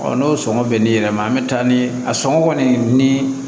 n'o sɔngɔ bɛnnen yɛrɛ ma an mɛ taa ni a sɔngɔ kɔni ni